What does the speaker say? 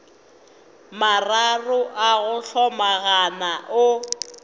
mararo a go hlomagana o